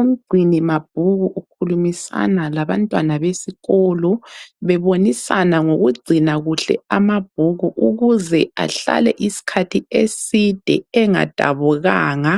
Umgcini mabhuku ukhulumisana labantwana besikolo bebonisana ngokugcina kuhle amabhuku ukuze ahlale isikhathi eside engadabukanga